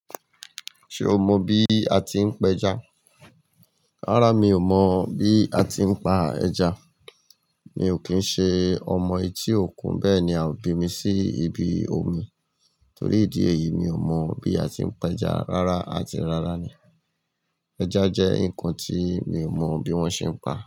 Ṣe o mọ bí a ti ń pa ẹja? Rárá, mi ò mọ bí a ti ń pa ẹja. Mi ò kì í ṣe ọmọ etí òkun, bẹ́ẹ̀ ni à o bì mí sí ibi omi. Tórí ìdí èyí, mi ò mọ bí a ti ń pa ẹja rárá àti rárá ni. Ẹja jẹ́ nǹkan ti mi ò mọ bí wọ́n ṣe ń pà.